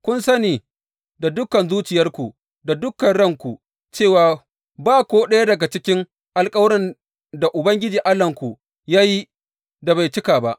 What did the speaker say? Kun sani da dukan zuciyarku, da dukan ranku cewa, Ba ko ɗaya daga cikin alkawuran da Ubangiji Allahnku ya yi, da bai cika ba.